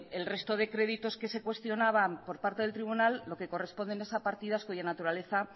el resto de créditos que se cuestionaban por parte del tribunal lo que corresponde en esa partida cuya naturaleza